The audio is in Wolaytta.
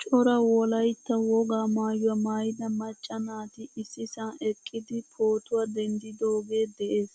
Cora wolaytta wogaa maayuwaa maayida macca naati issisan eqqidi pootuwaa denddidoge de'ees.